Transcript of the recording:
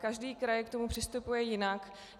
Každý kraj k tomu přistupuje jinak.